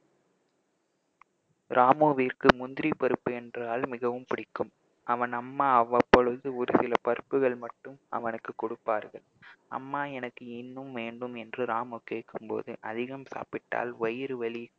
ராமுவிற்கு முந்திரி பருப்பு என்றால் மிகவும் பிடிக்கும் அவன் அம்மா அவ்வப்பொழுது ஒரு சில பருப்புகள் மட்டும் அவனுக்குக் கொடுப்பார்கள் அம்மா எனக்கு இன்னும் வேண்டும் என்று ராமு கேட்கும் போது அதிகம் சாப்பிட்டால் வயிறு வலி